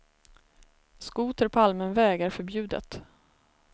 Skoter på allmän väg är förbjudet.